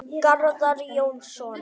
Garðar Jónsson